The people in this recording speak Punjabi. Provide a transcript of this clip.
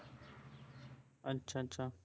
ਅੱਛਾ ਅੱਛਾ